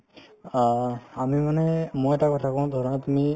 অ, আমি মানে মই এটা কথা কওঁ ধৰা তুমি